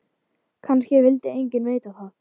Kannski vildi enginn vita það.